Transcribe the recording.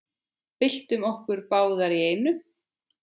Byltum okkur báðar í einu.